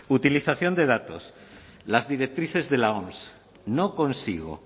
utilización de datos las directrices de la oms no consigo